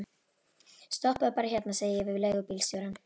Stoppaðu bara hérna, segi ég við leigubílstjórann.